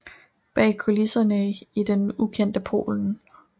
Bag kulisserne i det ukendte Polen